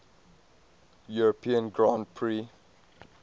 european grand prix